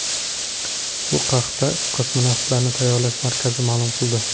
Bu haqda Kosmonavtlarni tayyorlash markazi ma’lum qildi .